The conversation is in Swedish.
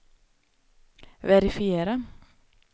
verifiera